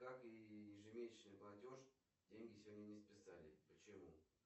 как и ежемесячный платеж деньги сегодня не списали почему